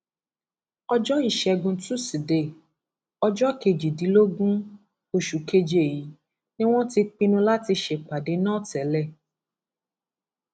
ọjọ ìṣẹgun tusidee ọjọ kejìdínlógún oṣù keje yìí ni wọn ti pinnu láti ṣèpàdé náà tẹlẹ